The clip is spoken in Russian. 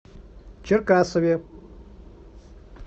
черкасове